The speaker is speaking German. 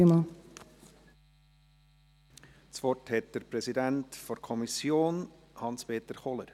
Das Wort hat der Präsident der Kommission, Hans-Peter Kohler.